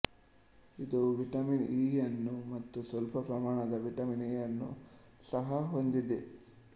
ಇದು vitamin E ಯನ್ನೂ ಮತ್ತು ಸ್ವಲ್ಪ ಪ್ರಮಾಣದ ವಿಟಮಿನ್ ಎ ಯನ್ನು ಸಹ ಹೊಂದಿದೆ